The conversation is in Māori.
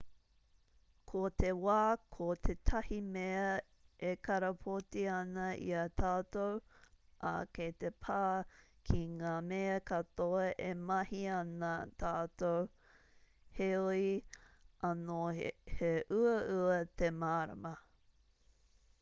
ko te wā ko tētahi mea e karapoti ana i a tātou ā kei te pā ki ngā mea katoa e mahi ana tātou heoi anō he uaua te mārama